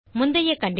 முந்தைய கண்டிஷன்